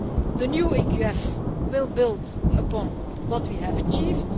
The new EQF will build upon what we have achieved.